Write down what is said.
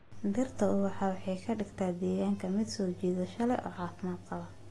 Dhirtu ubaxu waxay ka dhigtaa deegaanka mid soo jiidasho leh oo caafimaad qaba.